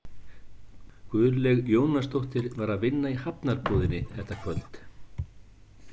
Guðlaug Jónasdóttir var að vinna í Hafnarbúðinni þetta kvöld.